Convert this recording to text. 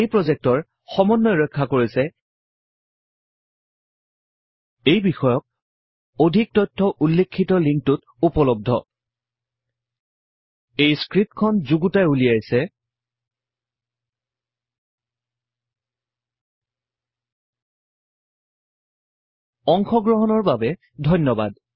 এই প্ৰজেক্টৰ সমন্বয় ৰক্ষা কৰিছে httpspoken tutorialorg এই বিষয়ক অধিক তথ্য উল্লেখিত লিংকটোত উপলবদ্ধ httpspoken tutorialorgNMEICT Intro এই স্ক্ৰিপ্টখন যুগুতাই উলিয়াইছে অংশ গ্ৰহন কৰাৰ বাবে ধন্যবাদ